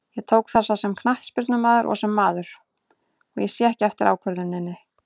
Ég tók þessa sem knattspyrnumaður og sem maður, og ég sé ekki eftir ákvörðuninni.